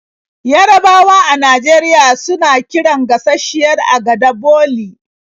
Yarabawa a Najeriya suna kiran gashasshiyar agada 'boli'.